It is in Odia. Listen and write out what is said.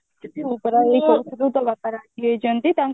ତୁ ପରା ଏଇ କହୁଥିଲୁ ତୋ ବାପା ରାଗିଯାଇଛନ୍ତି ତାଙ୍କ